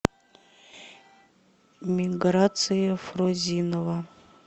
миграция фрозинова